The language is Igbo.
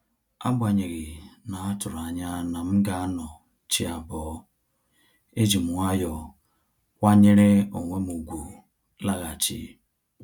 Agbanyeghi na-atụrụ anya na m ga anọ chi abọ́, ejim nwayọọ kwanyere onwem ùgwù laghachi